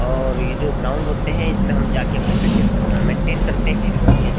और ये जो ग्राउंड होते हैं इसमें हम जाके अपनी फिटनेस मेंटेन करते हैं बहुत ही --